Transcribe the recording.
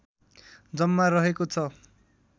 जम्मा रहेको छ